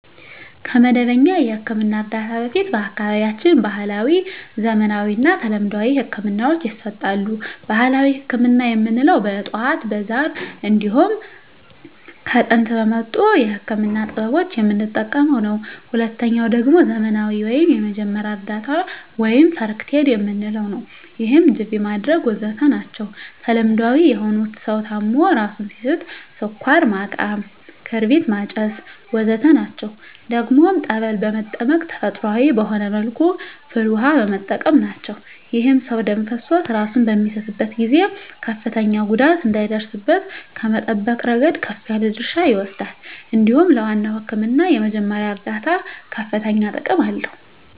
ከመደበኛ የሕክምና እርዳታ በፊት በአካባቢያችን ባህለዊ፣ ዘመናዊና ተለምዷዊ ህክምናወች ይሰጣሉ። ባህላዊ ህክምና የምንለዉ በእፅዋት በዛር እንዲሁም ከጥንት በመጡ የህክምና ጥበቦች የምንጠቀመዉ ነዉ። ሁለተኛዉ ደግሞ ዘመናዊ ወይም የመጀመሪያ እርዳታ(ፈርክት ኤድ) የምንለዉ ነዉ ይህም ጅቢ ማድረግ ወዘተ ናቸዉ። ተለምዳዊ የሆኑት ሰዉ ታሞ እራሱን ሲስት ስኳር ማቃም ክርቢት ማጨስ ወዘተ ናቸዉ። ደግሞም ፀበል በመጠመቅ ተፈጥሮአዊ በሆነ መልኩ ፍል ዉሃ በመጠቀም ናቸዉ። ይህም ሰዉ ደም ፈሶት እራሱን በሚስትበት ጊዜ ከፍተኛ ጉዳት እንዳይደርስበት ከመጠበቅ እረገድ ከፍ ያለ ድርሻ ይወስዳል እንዲሁም ለዋናዉ ህክምና የመጀመሪያ እርዳታ ከፍተኛ ጥቅም አለዉ።